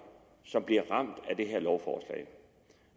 som bliver ramt af det her lovforslag